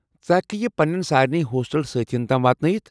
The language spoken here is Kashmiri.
ژٕ ہیٚککھہٕ یہِ پننٮ۪ن سارنی ہوسٹل سٲتھیَن تام واتنٲوِتھ؟